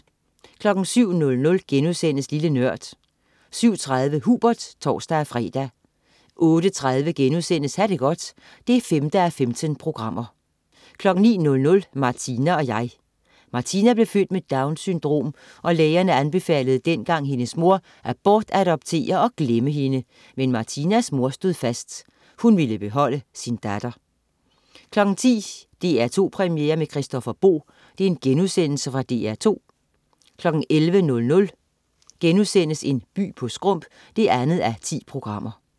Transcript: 07.00 Lille Nørd* 07.30 Hubert (tors-fre) 08.30 Ha' det godt 5:15* 09.00 Martina og jeg. Martina blev født med Downs syndrom, og lægerne anbefalede dengang hendes mor at bortadoptere og glemme hende, men Martinas mor stod fast: Hun ville beholde sin datter 10.00 DR2 Premiere med Christoffer Boe.* Fra DR2 11.00 By på skrump 2:10*